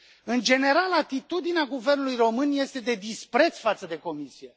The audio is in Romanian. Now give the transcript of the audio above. În general, atitudinea Guvernului român este de dispreț față de Comisie.